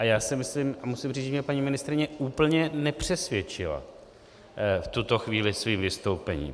A já si myslím a musím říct, že mě paní ministryně úplně nepřesvědčila v tuto chvíli svým vystoupením.